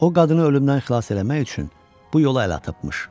O qadını ölümdən xilas etmək üçün bu yola əl atmış.